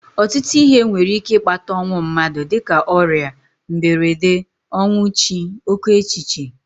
Ọtụtụ ihe nwere ike ịkpata ọnwụ mmadụ dịka ọrịa, mberede, ọnwụ chi, oké echiche